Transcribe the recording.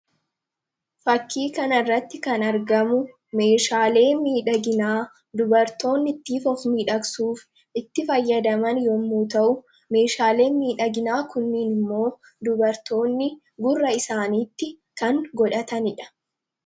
Fakkii kanarratti kan argamu meeshaalee miidhaginaa dubartoonni ittiin of miidhagsuuf itti fayyadaman yommuu ta'u, meeshaaleen miidhaginaa kunniin immoo dubartoonni gurra isaaniitti kan godhatanii dha.